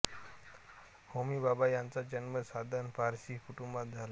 होमी भाभा यांचा जन्म सधन पारशी कुटुंबात झाला